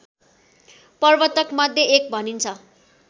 प्रवर्तकमध्ये एक भनिन्छ